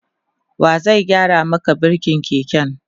wa zai gyara Maka birkin keken?